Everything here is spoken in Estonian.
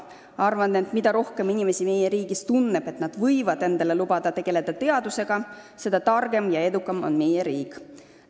Arvan, et mida rohkem inimesi meie riigis tunneb, et nad võivad endale lubada teadusega tegelemist, seda targem ja edukam on meie riik.